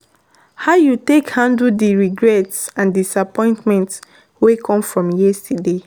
how you take handle di regrets and disappointments wey come from yesterday?